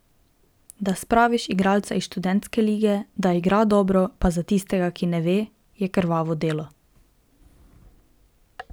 Da spraviš igralca iz študentske lige, da igra dobro, pa za tistega, ki ne ve, je krvavo delo.